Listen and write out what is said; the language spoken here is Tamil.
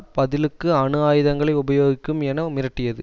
பதிலுக்கு அணு ஆயுதங்களை உபயோகிக்கும் என மிரட்டியது